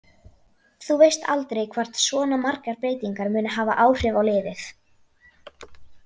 Þú veist aldrei hvort svona margar breytingar munu hafa áhrif á liðið.